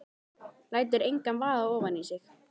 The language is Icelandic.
Lætur engan vaða ofan í sig.